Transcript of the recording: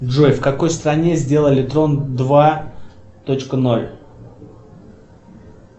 джой в какой стране сделали трон два точка ноль